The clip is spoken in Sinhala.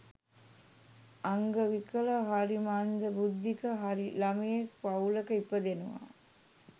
අංග විකල හරි මන්ද බුද්ධික හරි ළමයෙක් පවුලක ඉපදෙනවා